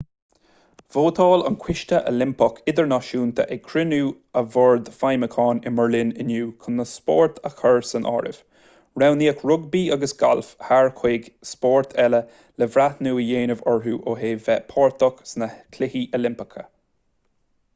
vótáil an coiste oilimpeach idirnáisiúnta ag cruinniú a bhoird feidhmiúcháin i mbeirlín inniu chun na spóirt a chur san áireamh roghnaíodh rugbaí agus galf thar chúig spórt eile le breithniú a dhéanamh orthu ó thaobh bheith páirteach sna cluichí oilimpeacha